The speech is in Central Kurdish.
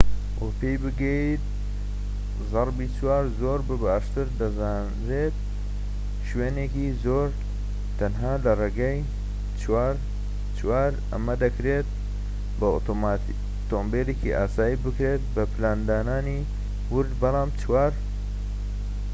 ئەمە دەکرێت بە ئۆتۆمۆبیلێکی ئاسایی بکرێت بە پلاندانانی وورد بەڵام 4x4 زۆر بە باشتر دەزانرێت و شوێنێکی زۆر تەنها لە ڕێگەی 4x4ەوە پێی بگەیت